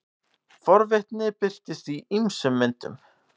forvitni birtist í ýmsum myndum